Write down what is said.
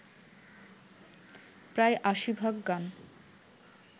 প্রায় আশি ভাগ গান